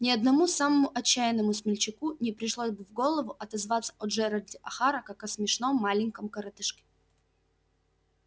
ни одному самому отчаянному смельчаку не пришло бы в голову отозваться о джералде охара как о смешном маленьком коротышке